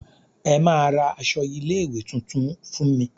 Ẹ máa ra aṣọ ilé ìwé tuntun fún me.